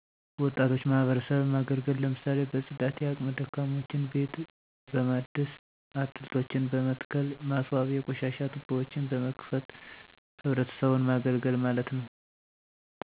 ወጣቶች ማህበረሰብን ማገልገል ለምሳሌ በፅዳት የአቅመ ደካሞችን ቤት በማደስ አትልቶችን በመትከል ማስዋብ የቆሻሻ ቱቦዎችን በመክፈት ህብረተሰቡን ማገልገል ማለት ነዉ